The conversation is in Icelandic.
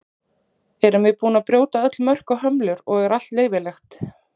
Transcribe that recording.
Erum við búin að brjóta öll mörk og hömlur og er allt leyfilegt?